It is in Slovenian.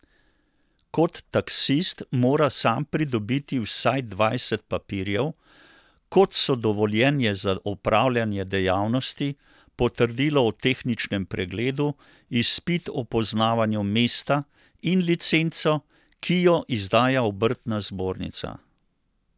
Kot taksist mora sam pridobiti vsaj dvajset papirjev, kot so dovoljenje za opravljanje dejavnosti, potrdilo o tehničnem pregledu, izpit o poznavanju mesta, in licenco, ki jo izdaja obrtna zbornica.